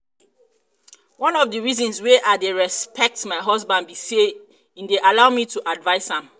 one of the reasons why i dey respect um my husband be say e dey allow me to advice am